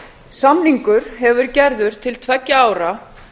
samningur hefur verið gerður til tveggja ára